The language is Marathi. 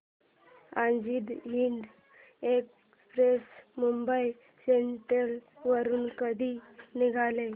आझाद हिंद एक्सप्रेस मुंबई सेंट्रल वरून कधी निघेल